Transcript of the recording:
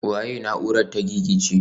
Waye na'urar ta gigice?